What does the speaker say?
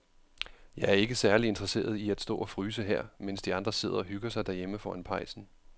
Jeg er ikke særlig interesseret i at stå og fryse her, mens de andre sidder og hygger sig derhjemme foran pejsen.